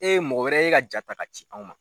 E mɔgɔ wɛrɛ ye e ka jaa ta ka ci anw ma.